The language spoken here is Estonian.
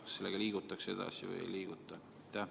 Kas sellega liigutakse edasi või ei liiguta?